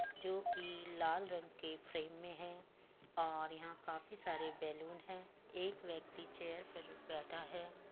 जो कि लाल रंग के फ्रेम में है और यहाँ काफी सारे बैलून है। एक व्यक्ति चेयर पर बैठा है।